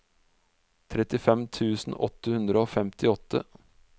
trettifem tusen åtte hundre og femtiåtte